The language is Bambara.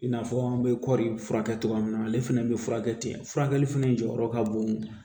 I n'a fɔ an bɛ kɔri furakɛ cogoya min na ale fana bɛ furakɛ ten furakɛli fɛnɛ jɔyɔrɔ ka bon